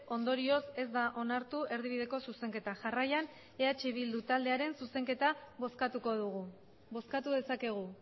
ondorioz ez da onartu erdibideko zuzenketa jarraian eh bildu taldearen zuzenketa bozkatuko dugu bozkatu dezakegu